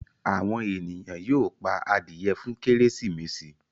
àwọn ènìyàn yóó pá adìye fún Kérésìmesì.